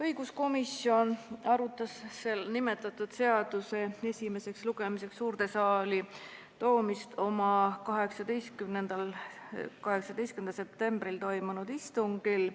Õiguskomisjon arutas nimetatud seaduseelnõu esimeseks lugemiseks suurde saali toomist oma 18. septembril toimunud istungil.